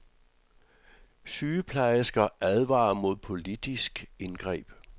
Sygeplejersker advarer mod politisk indgreb.